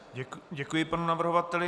Děkuji panu navrhovateli.